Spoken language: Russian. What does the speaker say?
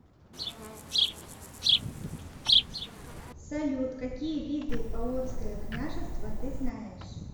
салют какие виды полоцкое княжество ты знаешь